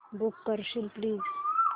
book करशील please